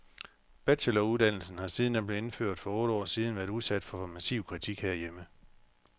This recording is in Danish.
Bacheloruddannelsen har siden den blev indført for otte år siden været udsat for massiv kritik herhjemme.